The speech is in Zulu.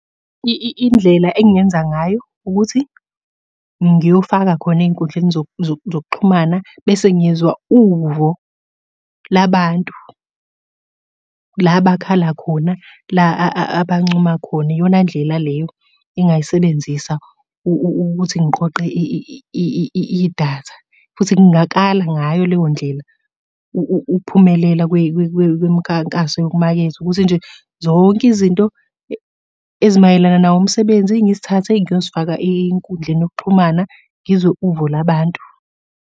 Indlela engingenza ngayo ukuthi, ngiyofaka khona ey'nkundleni zokuxhumana, bese ngizwa uvo labantu. La bakhala khona, la abancoma khona. Iyona ndlela leyo engingayisebenzisa ukuthi ngiqoqe idatha, futhi ngingakala ngayo leyo ndlela ukuphumelela kwemikhankaso yokumaketha, ukuthi nje zonke izinto ezimayelana nawo umsebenzi ngizithathe ngiyozifaka enkundleni yokuxhumana ngizwe uvo labantu.